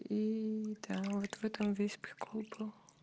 и да вот в этом весь прикол был